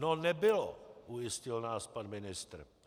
No nebylo, ujistil nás pan ministr.